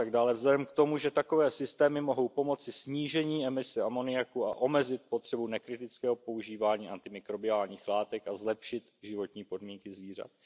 vzhledem k tomu, že takové systémy mohou pomoci snížení emise amoniaku a omezit potřebu nekritického používání antimikrobiálních látek a zlepšit životní podmínky zvířat?